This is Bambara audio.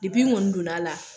n kɔni donn'a la